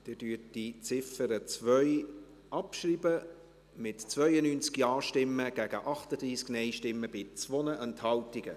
Sie schreiben die Ziffer 2 ab, mit 92 Ja- gegen 38 Nein-Stimmen bei 2 Enthaltungen.